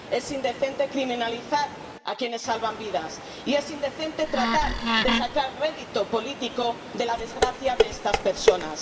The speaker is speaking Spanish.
Es indecente criminalizar a quienes salvan vidas y es indecente tratar de sacar rédito político de la desgracia de estas personas.